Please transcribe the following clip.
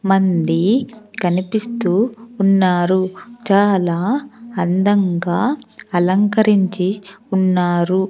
మంది కనిపిస్తూ ఉన్నారు చాలా అందంగా అలంకరించి ఉన్నారు.